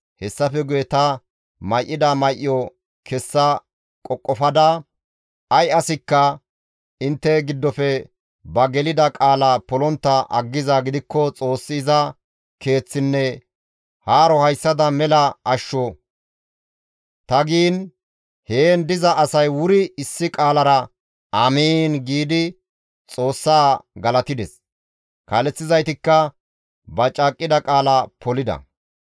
Hessafe guye ta may7ida may7o kessa qoqofada, «Ay asikka intte giddofe ba gelida qaala polontta aggizaa gidikko Xoossi iza keeththinne haaro hayssada mela ashsho!» ta giin heen diza asay wuri issi qaalara, «Amiin» giidi Xoossa galatides; kaaleththizaytikka ba caaqqida qaala polida.